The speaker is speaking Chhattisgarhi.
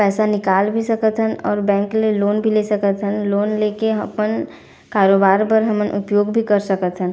पैसा निकाल भी सकत हन और बैंक ले लोन भी ले सकत हन लोन लेके अपन कारोबार बर हमन उपयोग भी कर सकत हन।